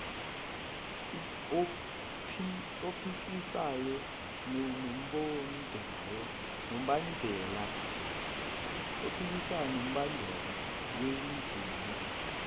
ophikisayo nombandela wendima